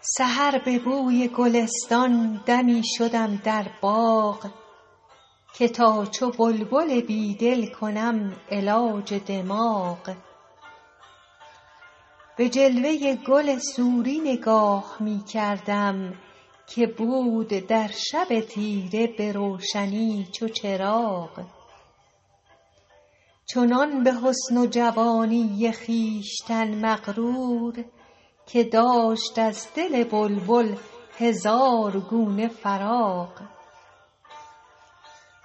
سحر به بوی گلستان دمی شدم در باغ که تا چو بلبل بیدل کنم علاج دماغ به جلوه گل سوری نگاه می کردم که بود در شب تیره به روشنی چو چراغ چنان به حسن و جوانی خویشتن مغرور که داشت از دل بلبل هزار گونه فراغ